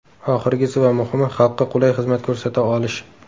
Oxirgisi va muhimi xalqqa qulay xizmat ko‘rsata olish.